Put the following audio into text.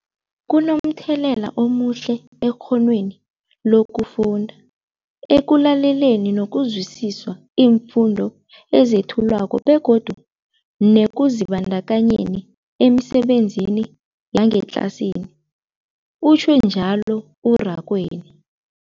Kunomthelela omuhle ekghonweni lokufunda, ekulaleleni nokuzwisiswa iimfundo ezethulwako begodu nekuzibandakanyeni emisebenzini yangetlasini, utjhwe njalo u-Rakwena.